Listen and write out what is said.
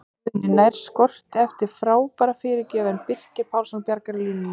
Jón Guðni nær skoti eftir frábæra fyrirgjöf en Birkir Pálsson bjargar á línunni!